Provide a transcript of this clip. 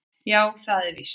Já, það er víst